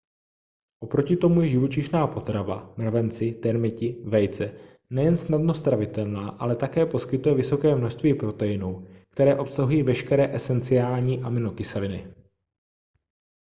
oproti tomu je živočišná potrava mravenci termiti vejce nejen snadno stravitelná ale také poskytuje vysoké množství proteinů které obsahují veškeré esenciální aminokyseliny